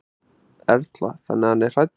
Erla: Þannig að hann er hræddur?